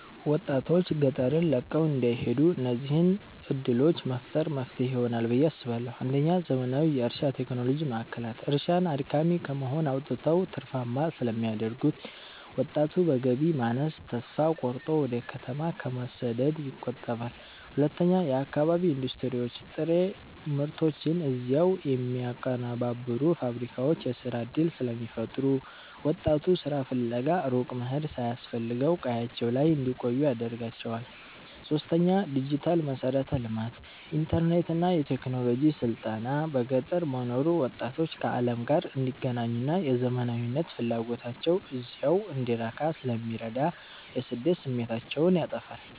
ወጣቶች ገጠርን ለቀው እንዳይሄዱ እነዚህን ዕድሎች መፍጠር መፍትሄ ይሆናል ብየ አስባለሁ ፩. ዘመናዊ የእርሻ ቴክኖሎጂ ማዕከላት፦ እርሻን አድካሚ ከመሆን አውጥተው ትርፋማ ስለሚያደርጉት፣ ወጣቱ በገቢ ማነስ ተስፋ ቆርጦ ወደ ከተማ ከመሰደድ ይቆጠባል። ፪. የአካባቢ ኢንዱስትሪዎች፦ ጥሬ ምርቶችን እዚያው የሚያቀነባብሩ ፋብሪካዎች የሥራ ዕድል ስለሚፈጥሩ፣ ወጣቱ ሥራ ፍለጋ ሩቅ መሄድ ሳያስፈልገው ቀያቸው ላይ እንዲቆዩ ያደርጋቸዋል። ፫. ዲጂታል መሠረተ ልማት፦ ኢንተርኔትና የቴክኖሎጂ ስልጠና በገጠር መኖሩ ወጣቶች ከዓለም ጋር እንዲገናኙና የዘመናዊነት ፍላጎታቸው እዚያው እንዲረካ ስለሚረዳ የስደት ስሜታቸውን ያጠፋዋል።